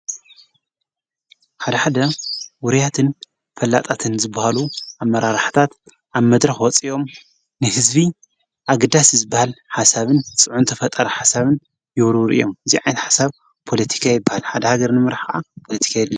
ሓድኃደ ውርያትን ፈላጣትን ዝብሃሉ ኣብ መራራኅታት ኣብ መድረ ወፂኦም ንሕዝቢ ኣግዳስ ዝበሃል ሓሳብን ጽዑ ንተ ፈጠር ሓሳብን የሩሩ እዮም እዚዓት ሓሳብ ጶሎቲካ ይብሃል ።